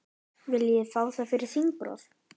Viljið fá það fyrir þingrof?